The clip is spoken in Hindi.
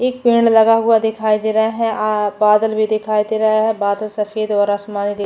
एक पेड लगा हुआ दिखाई दे रहा है आ बादल भी दिखाई दे रहे है बादल सफ़ेद और आसमानी--